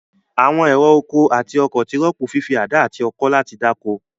Àwọn ẹ̀rọ oko àti ọkọ̀ ti rọ́pò fífi àdá àti ọkọ́ láti dáko.